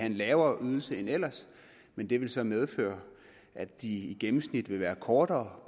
en lavere ydelse end ellers men det vil så medføre at de i gennemsnit vil være kortere